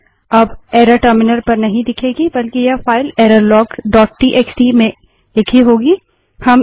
अब error terminal पर नहीं दिखेगी बल्कि यह file error log dot TXT file error log TXT में लिखी होगी